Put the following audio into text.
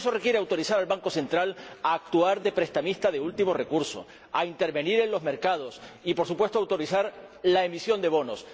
Y eso requiere autorizar al Banco Central Europeo a actuar de prestamista de último recurso, a intervenir en los mercados y, por supuesto, a autorizar la emisión de bonos.